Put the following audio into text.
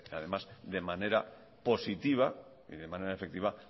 además de manera positiva y de manera efectiva